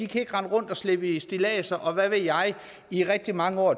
kan rende rundt og slæbe stilladser og hvad ved jeg i rigtig mange år